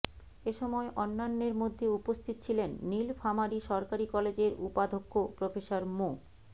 এ সময় অন্যান্যের মধ্যে উপস্থিত ছিলেন নীলফামারী সরকারি কলেজের উপাধ্যক্ষ প্রফেসর মো